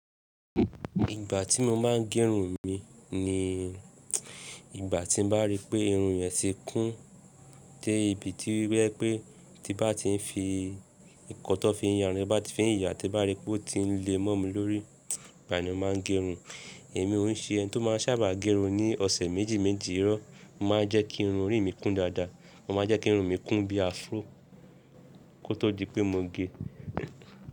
Ìgbà tí mo máa ń gerun mi ni ìgbà tí n bá rí pé irun yẹn ti kún dé ibi tí oba jẹ́ wípé tí bá ti ń fi nkan tí wọ́n fi ya irun tí n bá ti fi ìyà tí bá rí pé ó ti ń le mó mi lórí, igbàní ni mo máa ń gerun. Èmi oún ṣe ẹni tó máa ń sábà gerun ní ọ̀sẹ̀ méjì méjì irọ́. Mo máa ń jẹ́ kí irun orí mi kún dáadáa. Mo máa ń jẹ́ kí irun mi kún bí afro kó tó di pé mo ge.